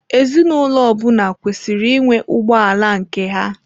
Ezinụlọ ọ bụla kwesịrị ịnwe ụgbọ ala nke ha.